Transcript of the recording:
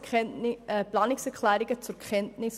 Diese nahmen wir mit Planungserklärungen zur Kenntnis.